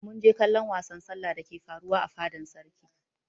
Mun je kallon wasan sallah dake faruwa a fadan sarki.